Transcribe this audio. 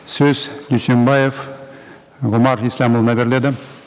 сөз дүйсембаев ғұмар ислямұлына беріледі